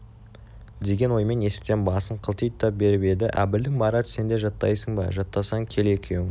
деген оймен есіктен басын қылтита беріп еді әбілдің марат сен де жаттайсың ба жаттасаң кел екеуің